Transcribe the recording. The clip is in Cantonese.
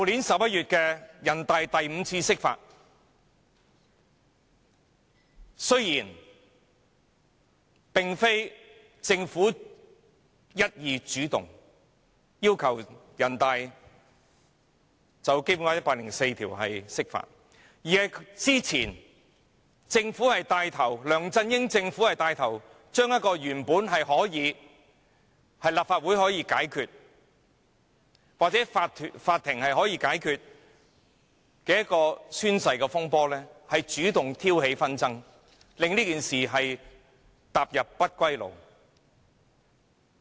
雖然這次並非政府一意主動要求人大常委會就《基本法》第一百零四條釋法，但梁振英政府之前牽頭藉着原本可由立法會或法庭解決的宣誓風波主動挑起紛爭，令這件事踏上不歸路。